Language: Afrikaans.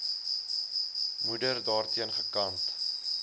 moeder daarteen gekant